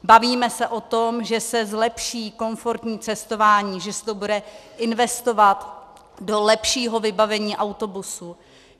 Bavíme se o tom, že se zlepší komfortní cestování, že se to bude investovat do lepšího vybavení autobusů.